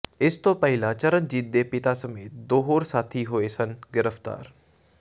ਇਸ ਤੋਂ ਪਹਿਲਾਂ ਚਰਨਜੀਤ ਦੇ ਪਿਤਾ ਸਮੇਤ ਦੋ ਹੋਰ ਸਾਥੀ ਹੋਏ ਸਨ ਗ੍ਰਿਫਤਾਰ